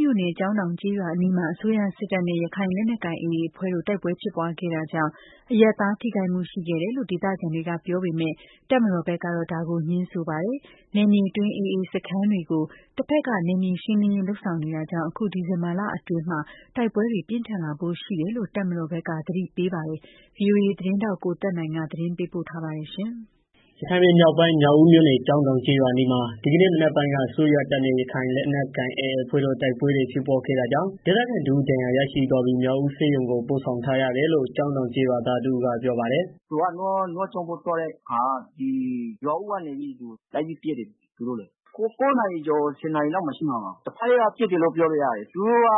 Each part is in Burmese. မြို့နယ်၊ ကျောင်းတောင်ကျေးရွာအနီးမှာ အစိုးရစစ်တပ်နဲ့ ရခိုင်လက်နက်ကိုင် AA အဖွဲ့တို့ တိုက်ပွဲဖြစ်ပွားခဲ့တာကြောင့် အရပ်သားထိခိုက်မှုရှိခဲ့တယ်လို့ ဒေသခံတွေက ပြောပေမယ့်၊ တပ်မတော် ဘက်ကတော့ ငြင်းပါတယ်။ နယ်မြေအတွင်း AA စခန်းတွေကို တပ်ဖက်က နယ်မြေရှင်းလင်းရေး လုပ်ဆောင်နေတာကြောင့် အခု ဒီဇင်ဘာလအတွင်း တိုက်ပွဲတွေ ပြင်းထန်လာဖို့ရှိတယ်လို့ တပ်မတော်ဘက်က သတိပေးပါတယ်။ ဗွီအိုအေ သတင်းထောက် ကိုသက်နိုင်က သတင်းပေးပို့ထားပါတယ်။ ရခိုင်ပြည်မြောက်ပိုင်း၊ မြောက်ဦးမြို့နယ် ကျောင်းတောင် ကျေးရွာအနီးမှာ ဒီကနေ့မနက်ပိုင်းက အစိုးရတပ်နဲ့ ရခိုင်လက်နက်ကိုင် AAအဖွဲ့တို့ တိုက်ပွဲဖြစ်ပွားခဲ့တာကြောင့် ဒေသခံတစ်ဦး ဒဏ်ရာရရှိသွားပြီး မြောက်ဦး ဆေးရုံ ကို ပို့ဆောင်ထားရတယ်လို့ ကျောင်းတောင် ကျေးရွာသားတစ်ဦးကပြောပါတယ်။ “သူက နွားကျောင်းဖို့ သွားတဲ့အခါ ရွာဦးကနေပြီးတော့ လိုက်ပြီးပစ်တယ်။ ၉နာရီကျော် ၁၀ နာရီ လောက်ဖြစ်မယ်။ တစ်ဘက်က ပစ်တယ်လို့ပြောလို့ရတယ် သူတို့က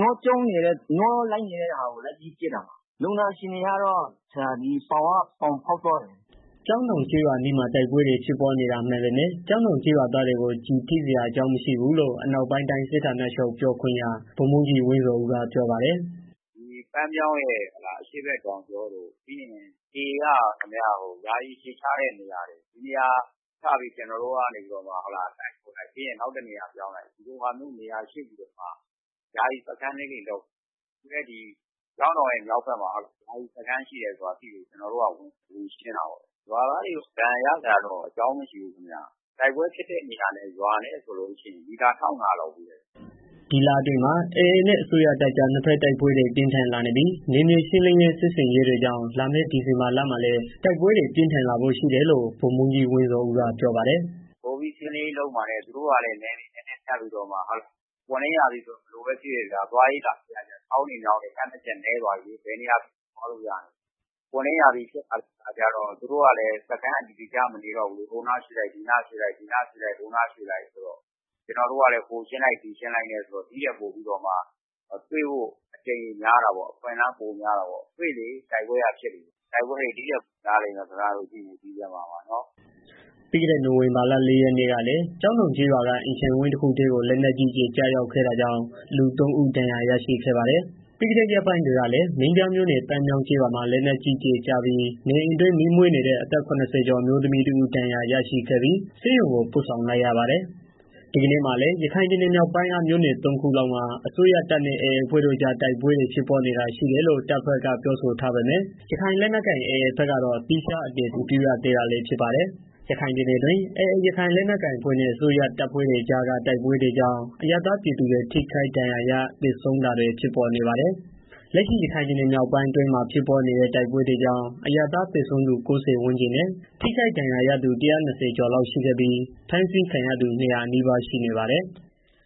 နွားကျောင်းနေတဲ့ ဟာကို လုပ်ပြီးတော့ ပစ်တာ လူနာအခြေအနေကတော့ ပေါင်ကိုဖောက်သွားတယ်။” ကျောင်းတောင် ကျေးအနီးမှာ တိုက်ပွဲဖြစ်ပွားနေတာမှန်ပေမယ့် ကျောင်းတောင်ကျေးရွာသားတွေကို ကျည်ထိစရာအကြောင်းမရှိဘူးလို့ အနောက်ပိုင်းတိုင်း စစ်ဌာချုပ် ပြောခွင့်ရ ဗိုလ်မှူးကြီး ဝင်းဇော်ဦး ကပြောပါတယ်။ “ပန်းမြောင်းရဲ့ အရှေ့တောင်ကြောတို့ ပြီးရင် AAက ယာယီအခြေချတဲ့နေရာတွေ ဒီနေရာတွေကို ကျနော်တို့က တိုက်လိုက် နောက်တစ်နေရာ ပြောင်းလိုက် နဲ့ ယာယီစခန်းတွေ လုပ်ထားတယ်။ အခုလည်း ကျောင်းတောင် ဘက်မှာ ယာယီစခန်းရှိတယ်ဆိုတာကို သိလို့ ကျနော်တို့က ဝင်ရှင်းတာပေါ့။ ရွာသားတွေ ဒဏ်ရာရစရာ အကြောင်းတော့ မရှိဘူးဗျာ။ တိုက်ပွဲဖြစ်တဲ့နေရာနဲ့ ရွာနဲ့ မီတာ ၁၅၀၀ လောက်ဝေးတယ်။” ဒီလအတွင်းမှာ AA နဲ့ အစိုးရတပ်အကြား နှစ်ဘက် တိုက်ပွဲတွေ ပြင်းထန်လာနေပြီး ၊ နယ်မြေရှင်းလင်းရေး စစ်ဆင်ရေးတွေကြောင့် လာမယ့် ဒီဇင်ဘာလမှာလည်း တိုက်ပွဲတွေ ပိုမိုပြင်းထန်လာဖို့ရှိတယ်လို့ ဗိုလ်မှူးကြီး ဝင်းဇော်ဦးက ပြောပါတယ်။ “ပိုပြီးတော့ ရှင်းလင်းရေးလုပ်မှာနဲ့ ပွင့်လင်းရာသီဆိုတော့ ဘယ်လိုပဲ ဖြစ်ဖြစ်ဗျာ သွားရေး လာရေးကလည်း ချောင်းတွေ မြောင်းတွေ ဖြတ်ရတာလည်း နည်းသွားပြီး ဘယ်နေရာဖြစ်ဖြစ် သွားလို့ရပြီ။ ပွင့်လင့်ရာသီဆိုတော့ သူတို့ကလည်း စခန်းအတည်တကျ မနေတော့ဘူးလေ။ ဟိုနားရွေ့လိုက် ဒီနားရွေ့လိုက် ဆိုတော့ ကျနော်တို့ကလည်း ဟိုနားရှင်းလိုက် ဒီနားရှင်းလိုက်နဲ့ ဆိုတော့ ဒီထက်ပိုပြီးတော့ တွေ့ဖို့အကြိမ်ရေ များတာပေါ့။ တွေ့လေ တိုက်ပွဲက ဖြစ်လေ။ တိုက်ပွဲတွေ ဒီထက်ပိုများလိမ့်မယ် ဒီဇင်ဘာမှာ ကြည့်နေ။” ပြီးခဲ့တဲ့ နိုင်ဝင်ဘာလ ၄ရက်နေ့ကလည်း ကျောင်းတောင်ကျေးရွာ အတွင်းက အိမ်ခြံဝင်းတစ်ခုအတွင်းကို လက်နက်ကြီး ကျရောက်ခဲ့တာကြောင့် လူသုံးဦး ဒဏ်ရာရရှိခဲ့ပါတယ်။ ပြီးခဲ့တဲ့ ရက်ပိုင်းတွေကလည်း မင်းပြားမြို့နယ်၊ ပန်းမြောင်းကျေးရွာမှာ လက်နက်ကြီးကျည်ကျပြီး နေအိမ်အတွင်း မီးမွေးနေတဲ့ အသက် ၇၀ကျော် အမျိုးသမီးတစ်ဦး ဒဏ်ရာရရှိခဲ့ပြီ ဆေးရုံကို ပို့ဆောင်လိုက် ရပါတယ်။ ဒီကနေ့မှာလည်း ရခိုင်ပြည်နယ်မြောက်ပိုင်းက မြို့နယ် ၃ခုလောက်မှာ အစိုးရတပ်နဲ့ AAအဖွဲ့တို့ တိုက်ပွဲ ဖြစ်ပွားနေတာတွေ ရှိတယ်လို့ တပ်မတော်ဖက်ကပြောဆိုထားပေမယ့် ရခိုင်လက်နက်ကိုင် AAဖက်ကတော့ သီခြားအတည်ပြု မရသေးတာလည်း ဖြစ်ပါတယ်။ ရခိုင်ပြည်နယ်အတွင်း AA ရခိုင်လက်နက်ကိုင်အဖွဲ့နဲ့ အစိုးရတပ်ဖွဲ့တွေအကြားက တိုက်ပွဲတွေကြောင့် အရပ်သားပြည်သူတွေ ထိခိုက်ဒဏ်ရာရ၊ သေဆုံးတာတွေ ဖြစ်ပေါ်နေပါတယ်။ လက်ရှိ ရခိုင်ပြည်မြောက်ပိုင်း အတွင်းမှာ ဖြစ်ပွားနေတဲ့ တိုက်ပွဲတွေကြောင့် အရပ်သားသေဆုံးသူ ၉၀ ဝန်းကျင်နဲ့ ထိခိုက် ဒဏ်ရာရသူ ၁၂၀ ကျော်လောက် ရှိခဲ့ပြီး ဖမ်းဆီးခံရသူ ၂၀၀ နီးပါး ရှိနေပါတယ်။